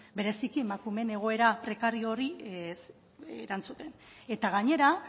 bereziki emakumeen egoera prekario horri erantzuten eta gainera